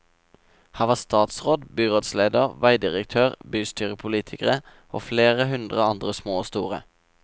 Her var statsråd, byrådsleder, veidirektør, bystyrepolitikere og flere hundre andre små og store.